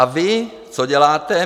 A vy, co děláte?